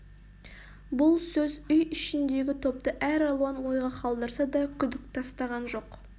бұл сөз үй ішіндегі топты әр алуан ойға қалдырса да күдік тастаған жоқ